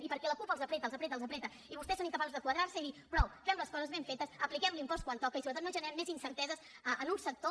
i perquè la cup els apreta els apreta i vostès són incapaços de quadrar se i dir prou fem les coses ben fetes apliquem l’impost quan toca i sobretot no generem més incerteses en un sector